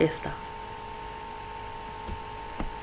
ئەمریکا